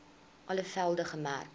alle velde gemerk